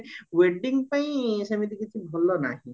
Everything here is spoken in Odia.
wedding ପାଇଁ ସେମିତି କିଛି ଭଲ ନାହି